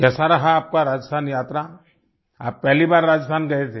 कैसा रहा आपका राजस्थान यात्रा आप पहली बार राजस्थान गए थे